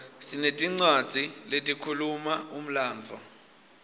sinetincwadzi letikhuluma umlandvo